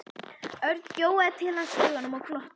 Örn gjóaði til hans augunum og glotti.